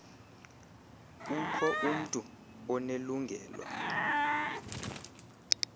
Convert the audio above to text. ukho umntu onelungelo